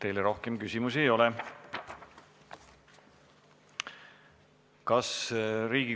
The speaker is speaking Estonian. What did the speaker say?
Teile rohkem küsimus ei ole.